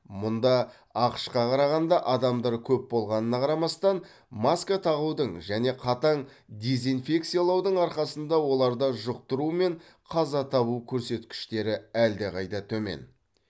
мұнда ақш қа қарағанда адамдар көп болғанына қарамастан маска тағудың және қатаң дезинфекциялаудың арқасында оларда жұқтыру мен қаза табу көрсеткіштері әлдеқайда төмен